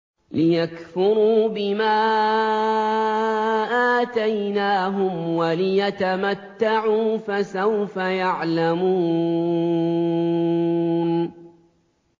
لِيَكْفُرُوا بِمَا آتَيْنَاهُمْ وَلِيَتَمَتَّعُوا ۖ فَسَوْفَ يَعْلَمُونَ